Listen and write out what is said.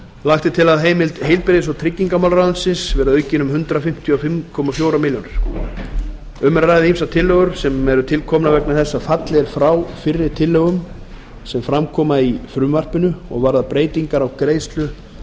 lagt er til að fjárheimild heilbrigðis og tryggingamálaráðuneytis verði aukin um hundrað fimmtíu og fimm komma fjórum milljónum króna um er að ræða ýmsar tillögur sem eru tilkomnar vegna þess að fallið er frá fyrri tillögum er fram koma í frumvarpinu og varða breytingar á greiðslu